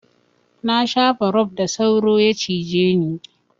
Na shafa rob da sauro ya cije ni.